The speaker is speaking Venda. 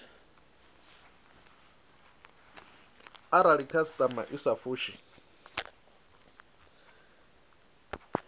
arali khasitama i sa fushi